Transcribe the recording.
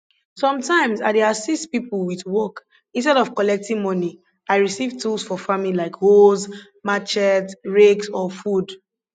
sometimes ah dey assist people with work instead of collecting money i receive tools for farming like hoes machetes rakes or food